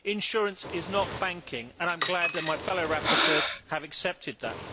Insurance is not banking and I am glad that my fellow rapporteurs have accepted that.